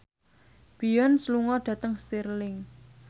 Beyonce lunga dhateng Stirling